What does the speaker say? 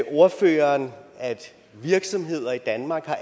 ordføreren at virksomheder i danmark har